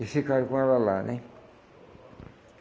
E ficaram com ela lá, né?